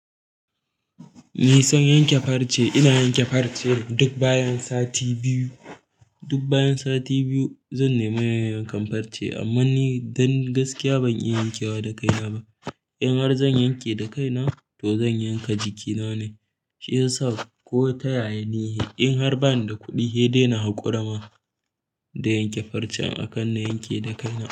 Nisan yanke farce, ina yanke farce duk bayan sati biyu. Duk bayan sati biyu zan nemi yankan farce amma ni don gaskiya ban iya yankewa da kaiya ba. In har zan yanke da kaina to zan yanka jikina ne, shi yasa ko ta yaya ne in har bani da kuɗi, hei dai na haƙura ma da yanke farcen akan na yanke da kaina.